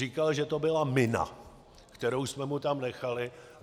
Říkal, že to byla mina, kterou jsme mu tam nechali.